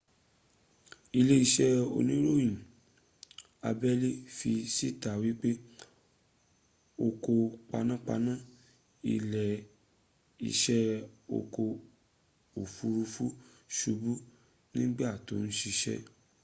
ilé isé oníròyìn abẹ́lé́ fi síta wípé ọkọ̀ panápaná ilé isé ọkọ̀ òfuurufú subú nígbà tí o ń sisẹ́